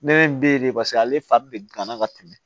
Ne be ye de paseke ale fa be gan na ka tɛmɛ